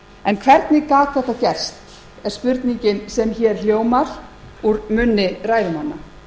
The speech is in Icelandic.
þeim hvernig gat þetta gerst er spurningin á hér hljómar úr munni ræðumanna